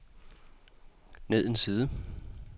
ned en side